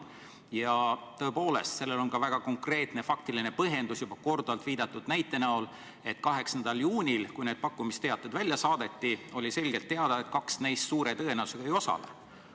Ja tõepoolest, sellel on ka väga konkreetne faktiline põhjendus juba korduvalt viidatud näite näol: 8. juunil, kui need pakkumisteated välja saadeti, oli selgelt teada, et kaks neist suure tõenäosusega ei osale.